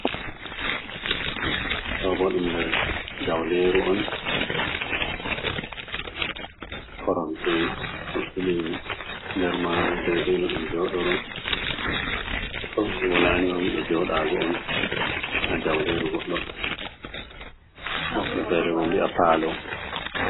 Ɗoobo ɗum nder jawleru on, koromje ɗon sili nder maru deidei noɗum joɗoro, koromje nane ma ɗum hunnde joɗago'on ha jawleru godɗo, woɓɓe feere boh wi'a parlo.